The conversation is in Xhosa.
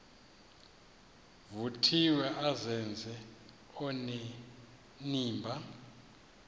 vuthiwe azenze onenimba